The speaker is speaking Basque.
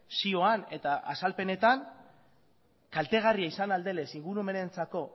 zioan eta azalpenetan kaltegarria izan ahal denez ingurumenarentzako